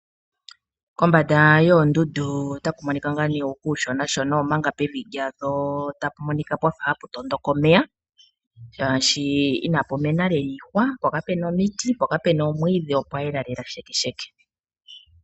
Kombanda yoondundu otaku monika ngaa nee kuushonashona omanga pevi dhalyo tapu monika pwafa hapu tondoka omeya. Shaashi inapu mena lela iihwa po kapuna omiti. Po kapuna omwiidhi opwa yela lela shekesheke.